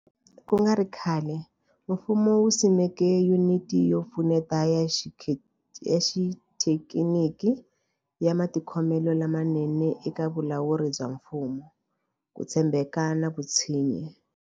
Ku nga ri khale, mfumo wu simeke Yuniti yo Pfuneta ya Xithekiniki ya Matikhomelo lamanene eka Vulawuri bya Mfumo, Ku tshembeka na Vutshinyi.